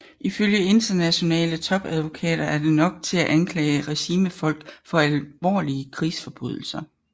Ifølge internationale topadvokater er det nok til at anklage regimefolk for alvorlige krigsforbrydelser